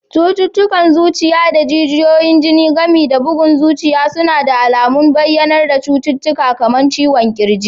Cututtukan zuciya da jijiyoyin jini, gami da bugun zuciya suna da alamun bayyanar cututtuka kamar ciwon ƙirji